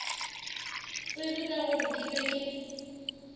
tsebe ka gore ke be